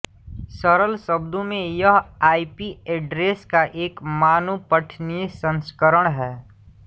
सरल शब्दों में यह आईपी एड्रेस का एक मानव पठनीय संस्करण है